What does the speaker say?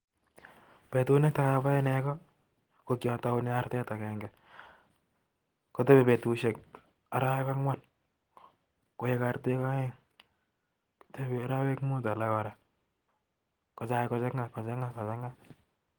Petit Netai apae negoo KO kyataunee artet agenge arwek mut kotai kochanga